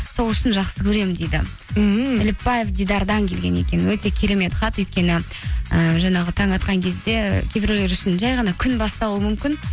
сол үшін жақсы көремін дейді ммм әліпбаев дидардан келген екен өте керемет хат өйткені і жаңағы таң атқан кезде кейбіреулер үшін жай ғана күн басталуы мүмкін